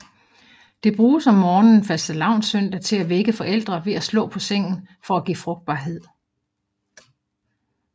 Det bruges om morgenen fastelavnssøndag til at vække forældre ved at slå på sengen for at give frugtbarhed